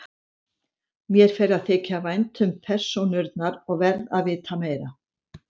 Mér fer að þykja vænt um persónurnar og verð að vita meira.